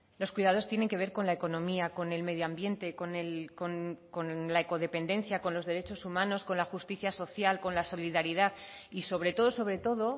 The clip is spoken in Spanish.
los cuidados tienen que ver con la economía con el medio ambiente con la ecodependencia con los derechos humanos con la justicia social con la solidaridad y sobre todo sobre todo